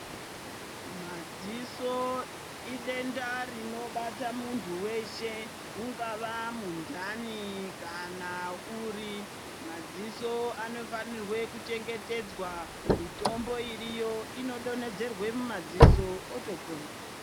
Madziso idenda rinobata muntu weshe, unga vamunhani kana uri madziso anofanire kuchengetedzwa, mitimbo iriyo inodonhedzerwe mumadziso otopona.